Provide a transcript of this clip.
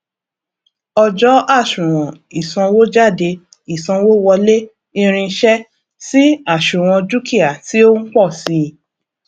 ọjọ àsuwon ìsanwójádé ìsanwówọlé irinṣẹ sì àsuwon dúkìá tí ó ń pọ sii